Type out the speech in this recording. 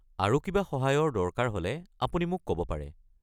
আৰু কিবা সহায়ৰ দৰকাৰ হ'লে আপুনি মোক ক'ব পাৰে।